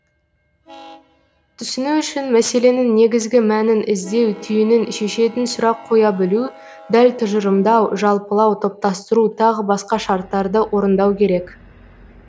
түсіну үшін мәселенің негізгі мәнін іздеу түйінін шешетін сұрақ қоя білу дәл тұжырымдау жалпылау топтастыру тағы басқа шарттарды орындау керек